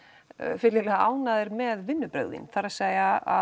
fyllilega ánægðir með vinnubrögð þín það er að